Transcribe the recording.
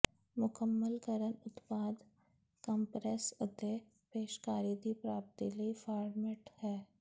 ਮੁਕੰਮਲ ਕਰਨ ਉਤਪਾਦ ਕੰਪਰੈੱਸ ਅਤੇ ਪੇਸ਼ਕਾਰੀ ਦੀ ਪ੍ਰਾਪਤੀ ਲਈ ਫਾਰਮੈਟ ਹੈ